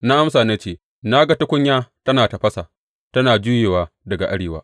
Na amsa na ce, Na ga tukunya tana tafasa, tana juyewa daga arewa.